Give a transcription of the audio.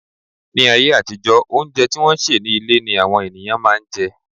Ní ayé àtijó, óúnjẹ tí wọ́n sè ní ilé ni àwọn ènìyàn máà ń jẹ.